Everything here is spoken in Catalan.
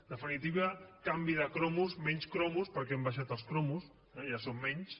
en de·finitiva canvi de cromos menys cromos perquè han baixat els cromos ja són menys